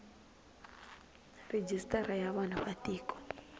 rejistara ya vanhu va tiko